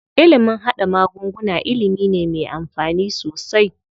Ilimin haɗa magunguna ilimi ne me amfani sosai.